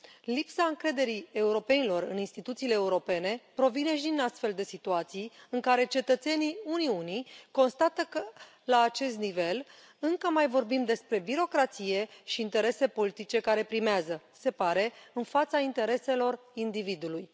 Lipsa încrederii europenilor în instituțiile europene provine și din astfel de situații, în care cetățenii Uniunii constată că, la acest nivel, încă mai vorbim despre birocrație și interese politice care primează, se pare, în fața intereselor individului.